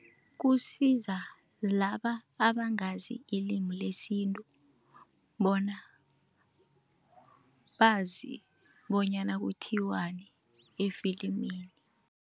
Kusiza laba abangazi ilimi lesintu, bona bazi bonyana kuthiwani efilimini.